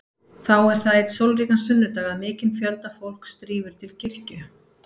Þá er það einn sólríkan sunnudag að mikinn fjölda fólks drífur til kirkju.